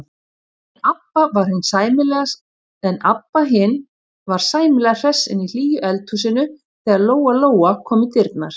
En Abba hin var sæmilega hress inni í hlýju eldhúsinu þegar Lóa-Lóa kom í dyrnar.